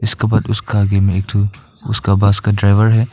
उसका बाद उसका आगे में एक ठो उसका बस का ड्राइवर है।